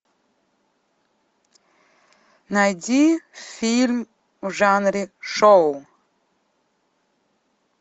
найди фильм в жанре шоу